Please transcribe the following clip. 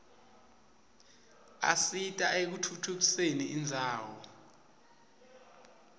asita ekutfutfu usen indzawo